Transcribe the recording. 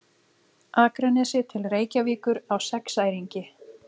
Akranesi til Reykjavíkur á sexæringi.